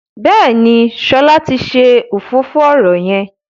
Béèni Shola tí ṣe òfófó ọrọ yén.